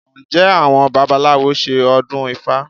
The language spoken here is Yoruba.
Ǹjẹ́ àwọn babaláwo ṣe ọdún ifá?